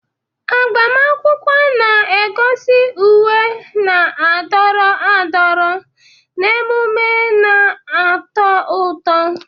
Agbamakwụkwọ na-egosi uwe na-adọrọ adọrọ na emume na-atọ ụtọ.